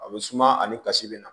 A bɛ suma ani kasi bɛ na